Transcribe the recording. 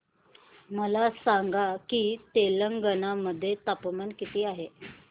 मला सांगा की तेलंगाणा मध्ये तापमान किती आहे